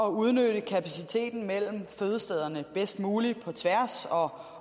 at udnytte kapaciteten mellem fødestederne bedst muligt på tværs og